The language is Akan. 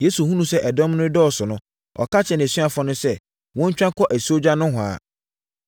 Yesu hunuu sɛ ɛdɔm no redɔɔso no, ɔka kyerɛɛ nʼasuafoɔ no sɛ, wɔntwa nkɔ asuogya nohoa.